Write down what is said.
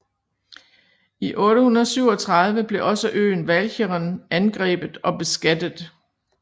I 837 blev også øen Walcheren angrebet og beskattet